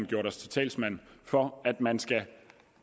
gjort os til talsmand for at man skal